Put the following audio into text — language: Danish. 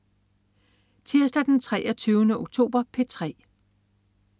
Tirsdag den 23. oktober - P3: